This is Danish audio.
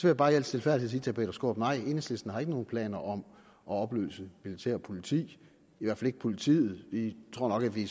jeg bare i al stilfærdighed sige til herre peter skaarup nej enhedslisten har ikke nogen planer om at opløse militær og politi i hvert fald ikke politiet vi tror nok at vi